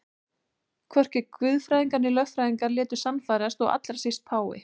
Hvorki guðfræðingar né lögfræðingar létu sannfærast og allra síst páfi.